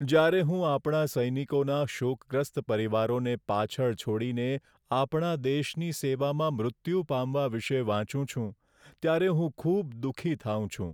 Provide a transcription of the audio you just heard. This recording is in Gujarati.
જ્યારે હું આપણા સૈનિકોના શોકગ્રસ્ત પરિવારોને પાછળ છોડીને આપણા દેશની સેવામાં મૃત્યુ પામવા વિશે વાંચું છું, ત્યારે હું ખૂબ દુઃખી થાઉં છું.